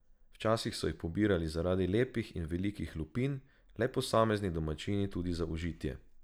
Včasih so jih pobirali zaradi lepih in velikih lupin, le posamezni domačini tudi za užitje.